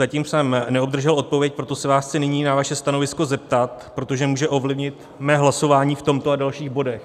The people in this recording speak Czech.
Zatím jsem neobdržel odpověď, proto se vás chci nyní na vaše stanovisko zeptat, protože může ovlivnit mé hlasování v tomto a dalších bodech.